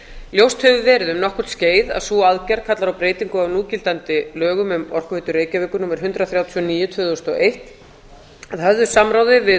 ljóst hefur verið um nokkurt skeið að sú aðgerð kallar á breytingu á núgildandi lögum um orkuveitu reykjavíkur númer hundrað þrjátíu og níu tvö þúsund og eitt að höfðu samráði við